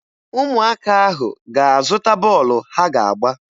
Ụmụaka ahụ ga-aga zụta bọọlụ ha ga-agba